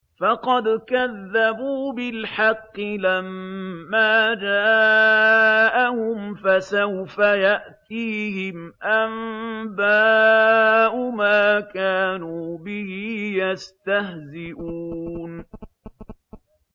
فَقَدْ كَذَّبُوا بِالْحَقِّ لَمَّا جَاءَهُمْ ۖ فَسَوْفَ يَأْتِيهِمْ أَنبَاءُ مَا كَانُوا بِهِ يَسْتَهْزِئُونَ